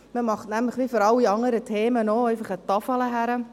Man macht nämlich, wie für alle anderen Themen auch, einfach eine Tafel hin.